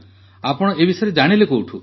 ଆପଣ ଏ ବିଷୟରେ କେଉଁଠୁ ଜାଣିଲେ